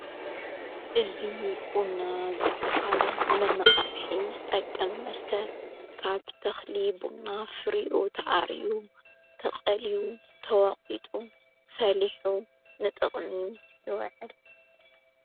እዚ ቡና ዝበሃል ንመነቓቕሒ ዝጠቀም መስተ ካብ ተኽሊ ቡና ፍሪኡ ተኣርዩ ተቐልዩ ተወቝጡ ፈሊሑ ንጥቕሚ ይወዕል።